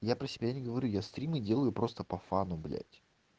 я про себя не говорю я стримы делаю просто по фану блять